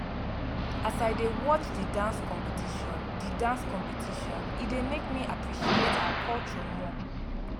as i dey watch di dance competition di dance competition e dey make me appreciate our culture more